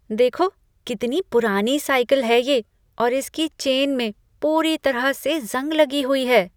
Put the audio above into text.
देखो, कितनी पुरानी साइकिल है ये और इसकी चेन में पूरी तरह से जंग लगी हुई है।